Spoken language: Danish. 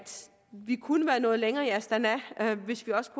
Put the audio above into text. vi kunne være nået længere i astana hvis vi også